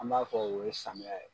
An b'a fɔ o ye samiya ye.